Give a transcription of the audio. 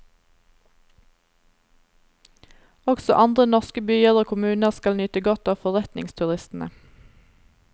Også andre norske byer og kommuner skal nyte godt av forretningsturistene.